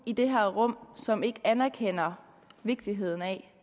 i det her rum som ikke anerkender vigtigheden af